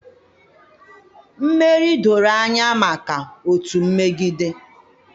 Mmeri doro anya maka otu mmegide